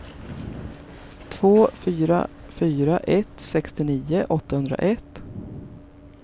två fyra fyra ett sextionio åttahundraett